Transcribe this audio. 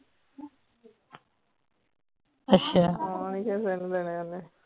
ਹਾਂ